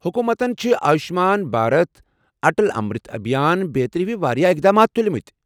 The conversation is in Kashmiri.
حکومتن چھ آیوٗشمان بھارت، اٹل امرت ابھیان بیترِ ہِوِ واریاہ اقدامات تُلۍمٕتۍ ۔